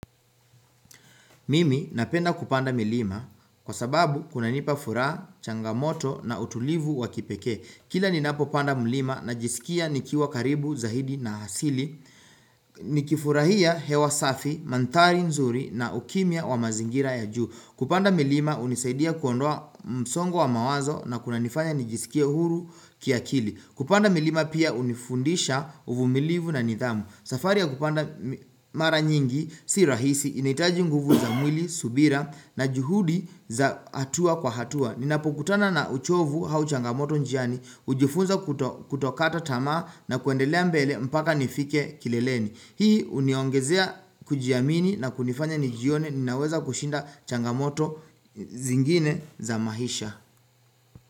Mimi napenda kupanda milima kwa sababu kunanipa furaha, changamoto na utulivu wa kipekee. Kila ninapopanda mlima najisikia nikiwa karibu, zaidi na asili. Nikifurahia hewa safi, mandhari nzuri na ukimya wa mazingira ya juu. Kupanda milima hunisaidia kuondoa msongo wa mawazo na kunanifanya nijisikie huru kiakili. Kupanda milima pia hunifundisha uvumilivu na nidhamu. Safari ya kupanda mara nyingi, si rahisi, inahitaji nguvu za mwili, subira na juhudi za hatua kwa hatua Ninapokutana na uchovu au changamoto njiani, hujifunza kutokata tamaa na kuendelea mbele mpaka nifike kileleni Hii huniongezea kujiamini na kunifanya nijione, ninaweza kushinda changamoto zingine za maisha.